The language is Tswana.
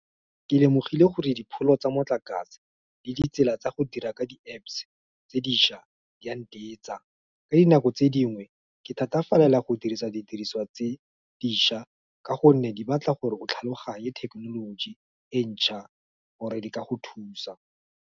Ke lemogile gore dipholo tsa motlakase le ditsela tsa go dira ka di-Apps tse dišwa, di a . Ka dinako tse dingwe ke thatafalela go dirisa didiriswa tse dišwa, ka gonne di batla gore go tlhaloganye thekenoloji e ntšhwa gore di ka go thusa.